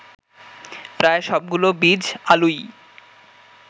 প্রায় সবগুলো বীজ আলুই